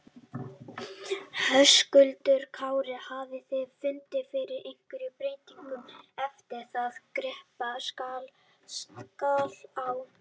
Höskuldur Kári: Hafið þið fundið fyrir einhverjum breytingum eftir að kreppan skall á?